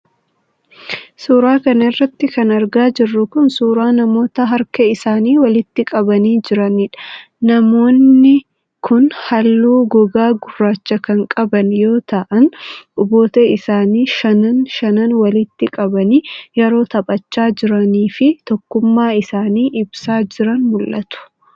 Suura kana irratti kan argaa jirru kun, suura namoota harka isaanii walitti qabanii jiraniidha. Namoonni kunhaaluu gogaa gurraacha kan qaban yoo ta'an, quboota isaanii shanan shanan walitti qabanii yeroo taphachaa jiranii fi tokkummaa isaanii ibsaa jiran mul'atu.